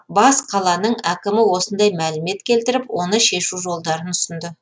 бас қаланың әкімі осындай мәлімет келтіріп оны шешу жолдарын ұсынды